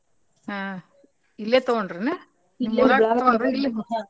ಹ್ಮ್ ಇಲ್ಲೆತಗೊಂಡರೇನ? .